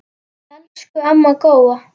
Elsku amma Góa.